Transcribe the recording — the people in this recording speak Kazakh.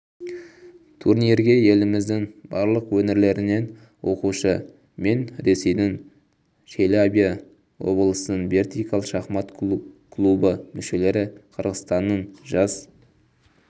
турнирге еліміздің барлық өңірлерінен оқушы мен ресейдің челябі облысының вертикаль шахмат клубы мүшелері қырғызстанның жас